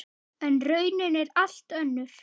En raunin er allt önnur.